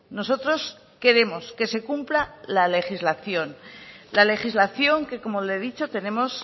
nosotros queremos que se cumpla la legislación la legislación que como le he dicho tenemos